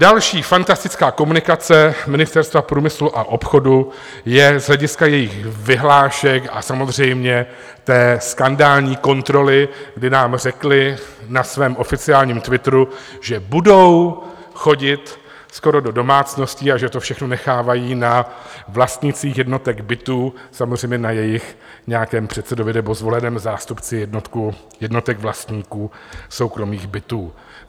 Další fantastická komunikace Ministerstva průmyslu a obchodu je z hlediska jejich vyhlášek a samozřejmě té skandální kontroly, kdy nám řekli na svém oficiálním twitteru, že budou chodit skoro do domácností a že to všechno nechávají na vlastnících jednotek bytů, samozřejmě na jejich nějakém předsedovi nebo zvoleném zástupci jednotek vlastníků soukromých bytů.